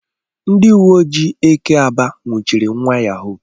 Ndi uwe ojii eke aba nwuchiri nwa yahoo.